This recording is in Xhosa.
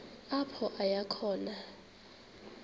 apho aya khona